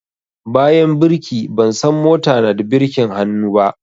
Bayan birki, ban san mota na da birkin hannu